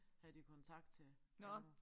Havde de kontakt til ånder